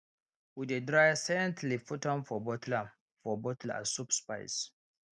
we dey dry scent leaf put am for bottle am for bottle as soup spice